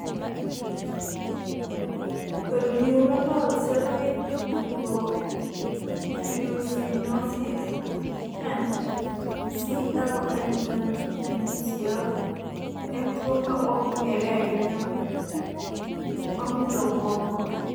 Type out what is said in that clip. Neuronal ceroid lipofuscinosis 10 (CLN10 NCL) en tuwo ma ok ong'ere ahinya ma mulo obwongo.